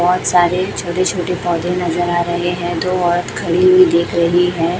बहोत सारे छोटे छोटे पौधे नजर आ रहे हैं दो औरत खड़ी हुई देख रही है।